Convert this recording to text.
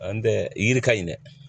An tɛ yiri ka ɲi dɛ